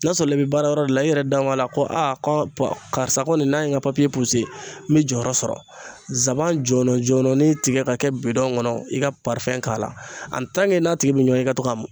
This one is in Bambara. N'a sɔrɔ i bɛ baara yɔrɔ de la i yɛrɛ da b'a la ko a karisa kɔni n'a ye n ka n bɛ jɔyɔrɔ sɔrɔ nsaban jɔlɔjɔlɔnin tigɛ ka kɛ bidɔn kɔnɔ i ka k'a la ani n'a tigi bɛ ɲɔɔn ye i ka to k'a mun